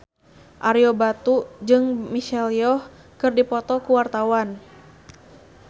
Ario Batu jeung Michelle Yeoh keur dipoto ku wartawan